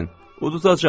Uduzacaq.